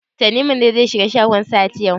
Tanimu ne zai shiga shagon Sahad yau?